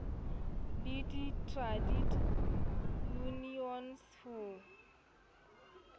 le di trade unions ho